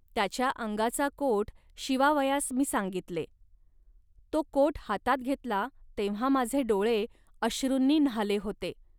त्याच्या अंगाचा कोट शिवावयास मी सांगितले. तो कोट हातात घेतला, तेव्हा माझे डोळे अश्रूंनी न्हाले होते